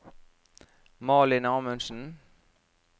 Malin Amundsen